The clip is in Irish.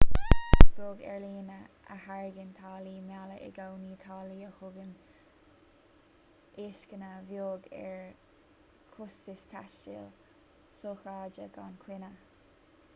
is beag aerlíne a thairgeann táillí méala i gcónaí táillí a thugann lascaine bheag ar chostais taistil sochraide gan choinne